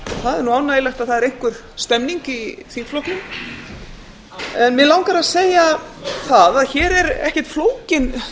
það er nú ánægjulegt að það er einhver stemning í þingflokknum mig langar að segja það að hér er ekkert flókin